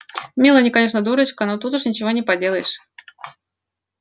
мелани конечно дурочка но тут уж ничего не поделаешь